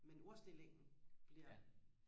men ordstillingen bliver